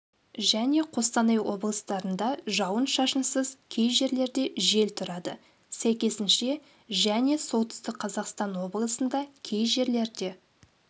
және қостанай облыстарында жауын-шашынсыз кей жерлерде жел тұрады сәйкесінше және солтүстік қазақстан облысында кей жерлерде